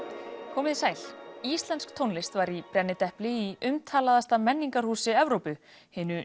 komið þið sæl íslensk tónlist var í brennidepli í umtalaðasta menningarhúsi Evrópu hinu